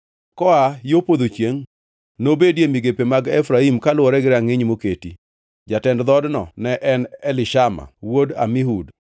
Koa yo podho chiengʼ nobedie migepe mag Efraim kaluwore gi rangʼiny moketi. Jatend dhoodno ne en Elishama wuod Amihud.